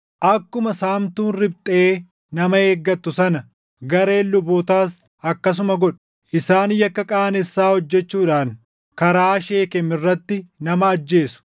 Akkuma saamtuun riphxee nama eeggattu sana, gareen lubootaas akkasuma godhu; isaan yakka qaanessaa hojjechuudhaan karaa Sheekem irratti nama ajjeesu.